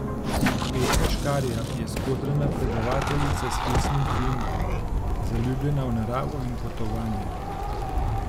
Petra Škarja je skodrana predavateljica s hecnim priimkom, zaljubljena v naravo in potovanja.